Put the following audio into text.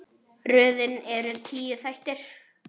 Röðin er tíu þættir.